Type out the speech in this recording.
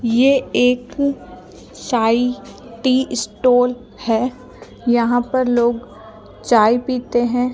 ये एक साई टी स्टोन है यहां पर लोग चाय पीते हैं।